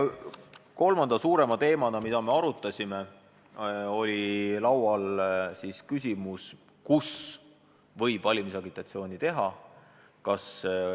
Kolmanda suurema teemana, mida me arutasime, oli laual küsimus, kus võib valimisagitatsiooni teha.